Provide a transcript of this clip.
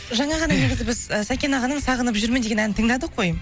жаңа ғана негізі біз і сәкен ағаның сағынып жүрмін деген әнін тыңдадық қой